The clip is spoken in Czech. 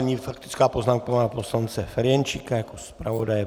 Nyní faktická poznámka pana poslance Ferjenčíka jako zpravodaje.